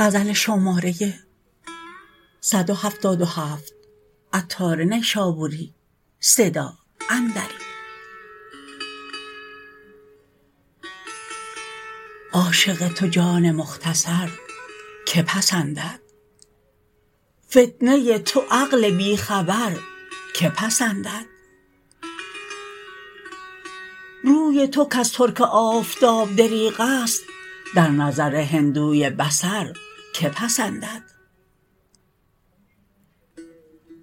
عاشق تو جان مختصر که پسندد فتنه ی تو عقل بی خبر که پسندد روی تو کز ترک آفتاب دریغ است در نظر هندوی بصر که پسندد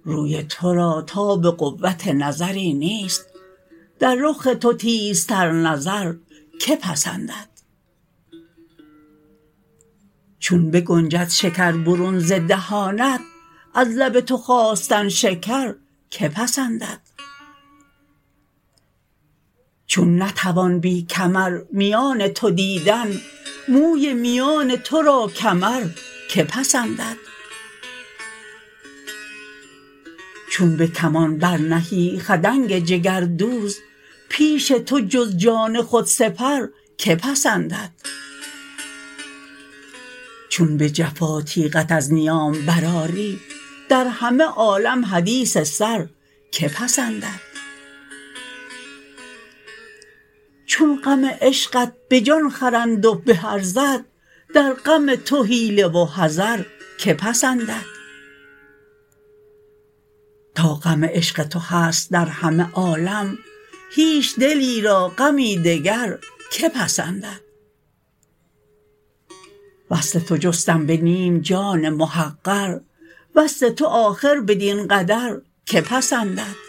روی تو را تاب قوت نظری نیست در رخ تو تیزتر نظر که پسندد چون بنگنجد شکر برون ز دهانت از لب تو خواستن شکر که پسندد چون نتوان بی کمر میان تو دیدن موی میان تو را کمر که پسندد چون به کمان برنهی خدنگ جگردوز پیش تو جز جان خود سپر که پسندد چون به جفا تیغت از نیام برآری در همه عالم حدیث سر که پسندد چون غم عشقت به جان خرند و به ارزد در غم تو حیله و حذر که پسندد تا غم عشق تو هست در همه عالم هیچ دلی را غمی دگر که پسندد وصل تو جستم به نیم جان محقر وصل تو آخر بدین قدر که پسندد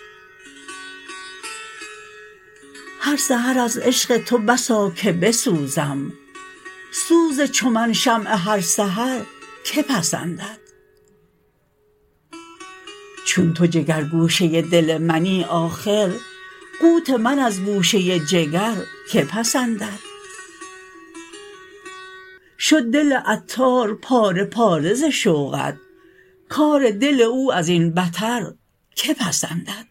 هر سحر از عشق تو بسا که بسوزم سوز چو من شمع هر سحر که پسندد چون تو جگر گوشه دل منی آخر قوت من از گوشه جگر که پسندد شد دل عطار پاره پاره ز شوقت کار دل او ازین بتر که پسندد